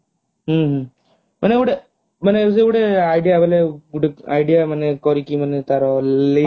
ହୁଁ ହୁଁ ମାନେ ଗୋଟେ ମାନେ ସେ ଗୋଟେ idea ବୋଲେ ଗୋଟେ idea ମାନେ କରିକି ମାନେ ତାର